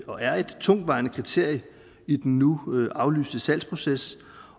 og er et tungtvejende kriterie i den nu aflyste salgsproces